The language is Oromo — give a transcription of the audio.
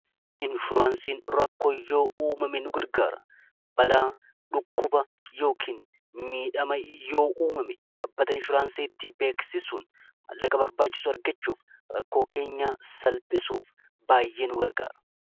Inshuraansiin rakkoon yoo uumame nu gargaara balaa dhukkuba yookiin miidhama yoo uumame dhaabbata inshuraansii itti beeksisun mallaqa barbaachisu argachuuf rakkoo keenya salphisuuf baay'ee nu gargaara.